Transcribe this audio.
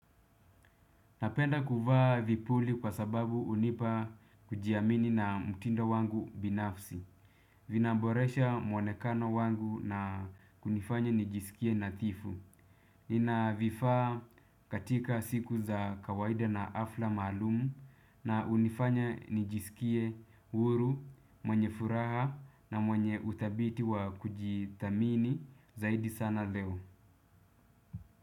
Napenda kuvaa vipuli kwa sababu unipa kujiamini na mtindo wangu binafsi. Vinaboresha mwonekano wangu na kunifanya nijisikie nadhifu. Nina vifaa katika siku za kawaida na hafla maalumu na hunifanya nijisikie huru, mwenye furaha na mwenye uthabiti wa kujithamini zaidi sana leo.